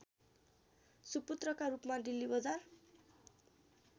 सुपुत्रका रूपमा डिल्लीबजार